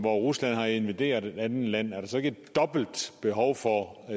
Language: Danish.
rusland har invaderet et andet land og